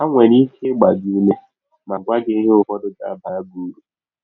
Ha nwere ike ịgba gị ụme ma gwa gị ihe ụfọdụ ga - abara gị ụrụ.